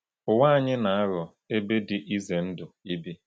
Ụwa anyị na-aghọ ebe dị ize ndụ ibi.